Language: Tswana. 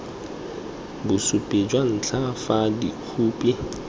bosupi jwa ntlha fa dikhopi